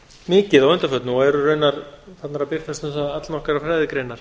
mikið að undanförnu og eru raunar farnar að birtast um það allnokkrar fræðigreinar